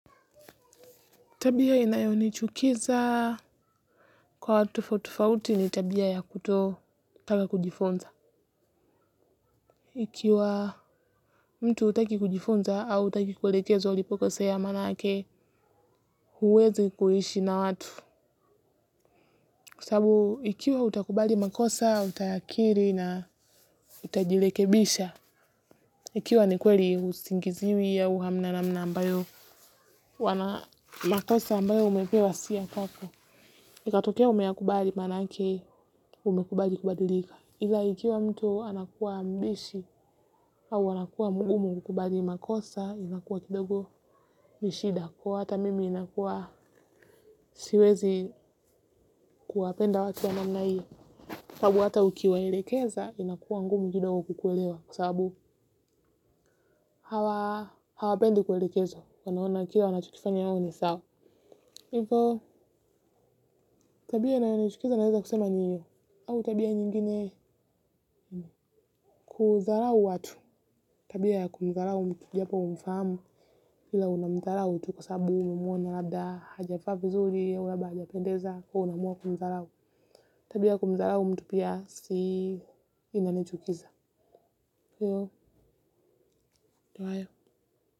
Tabia inayonichukiza kwa watu tofauti tofauti ni tabia ya kutotaka kujifunza. Ikiwa mtu hutaki kujifunza au hutaki kuelekezwa ulipo kosea maanake huwezi kuishi na watu. Kwa sababu, ikiwa utakubali makosa, utakiri na utajirekebisha. Ikiwa ni kweli husingiziwi au hamna ambayo wana makosa ambayo umepewa si yakwako. Ikatokea umeyakubali manake umekubali kubadilika. Ila ikiwa mtu anakuwa mbishi au anakuwa mgumu kukubali makosa inakuwa kidogo ni shida. Kwa hata mimi inakuwa siwezi kuwapenda watu ya namna iyo. Kwa hata ukiwa elekeza inakuwa ngumu kidogo kukuelewa kwa sababu hawapendi kuelekezwa wanaona kila wanachokifanya wao ni sawa. Hivyo, tabia inayonichukiza naweza kusema ni hiyo. Au tabia nyingine. Kudharau watu. Tabia ya kumdharau mtu japo humfahamu. Ila unamdharau tu kwasababu umemuona labda, hajavaa vizuri, au labda hajapendeza. Kwahyo unaamua kumdharau. Tabia kumdharau mtu pia si inanichukiza. Hivyo, ndo hayo.